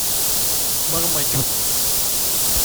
мармадюк